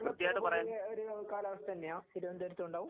കേരളത്തിലെഒരു കാലാവസ്ഥ തന്നെയാണ് തിരുവനന്തപുരത്ത് ഉണ്ടാവും.